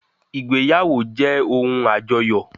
Ìgbéyàwó jẹ́ ohun àjọyọ̀